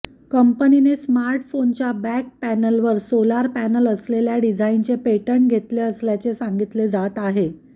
कंपनीने स्मार्टफोनच्या बॅक पॅनलवर सोलर पॅनल असलेल्या डिझाईनचे पेटंट घेतले असल्याचे सांगितले जात आहे